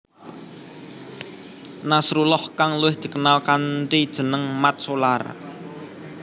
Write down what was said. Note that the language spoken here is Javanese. Nasrullah kang luwih dikenal kanthi jeneng Mat Solar